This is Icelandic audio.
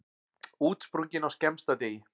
Útsprungin á skemmsta degi.